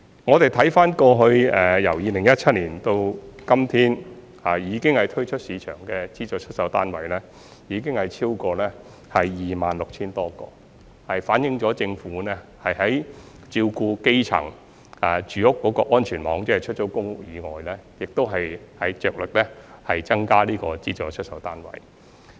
我們回看2017年到今天，推出市場的資助出售單位已經超過 26,000 多個，反映政府照顧基層住屋的安全網，即除了出租公屋以外，也着力增加資助出售單位。